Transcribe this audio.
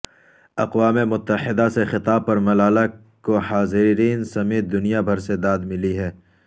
اقوام متحدہ سے خطاب پر ملالہ کو حاضرین سمیت دنیا بھر سے داد ملی ہے